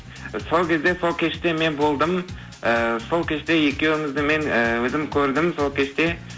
сол кезде сол кеште мен болдым і сол кеште екеуіңізді мен і өзім көрдім сол кеште